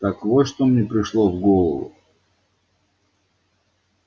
так вот что мне пришло в голову